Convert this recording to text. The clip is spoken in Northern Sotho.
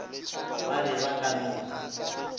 ba be ba ka no